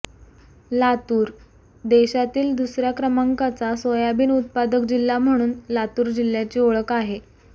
लातूर देशातील दुसऱ्या क्रमांकाचा सोयाबीन उत्पादक जिल्हा म्हणून लातूर जिल्ह्याची ओळख आहे